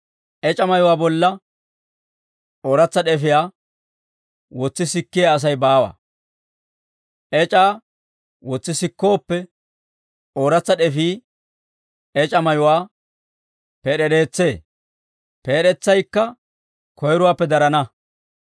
«Ec'a mayuwaa bolla ooratsa d'efiyaa wotsi sikkiyaa Asay baawa; ec'aa wotsi sikkooppe, ooratsa d'efii ec'a mayuwaa peed'ereetsee; peed'etsaykka koyrowaappe darana.